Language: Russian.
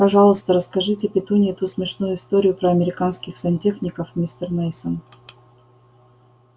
пожалуйста расскажите петунье ту смешную историю про американских сантехников мистер мейсон